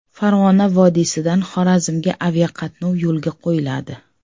Farg‘ona vodiysidan Xorazmga aviaqatnov yo‘lga qo‘yiladi.